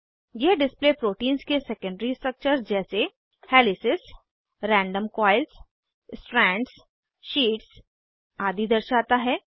यह display proteins के secondary structure जैसे helices random coils strands sheets आदि दर्शाता है